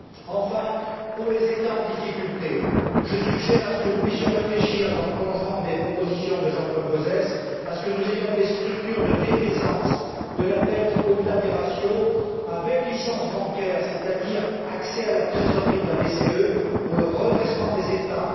Enfin, pour les États en difficulté, je suggère que nous puissions réfléchir, dans le prolongement des propositions de Jean Paul Gauzès, à la mise en place de structures de défaisance de la dette, au delà des ratios, avec licence bancaire, c'est à dire à l'accès à la trésorerie de la BCE pour le redressement des États.